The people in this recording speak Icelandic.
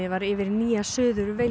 var yfir Nýja Suður